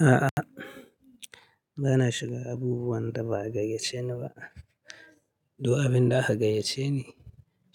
A'a, ba na shiga abubuwan da ba a gayyace ni ba. Duk abin da aka gayyace ni